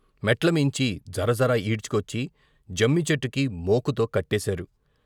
మెట్లమీంచి జరజర ఈడ్చుకొచ్చి జమ్మిచెట్టుకి మోకుతో కట్టేశారు.